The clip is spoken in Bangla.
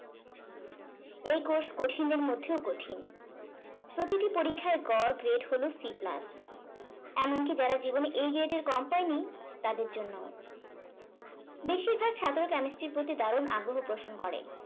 এই course কঠিনের মধ্যেও কঠিন। প্রতিটি পরীক্ষার গড় grade হলো C plus. এমনকি যারা জীবনে A grade এর কম পায়নি তাদের জন্যে ও। বেশিরভাগ ছাত্র chemistry এর প্রতি দারুন আগ্রহ পোষণ করে।